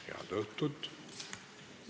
Head õhtut!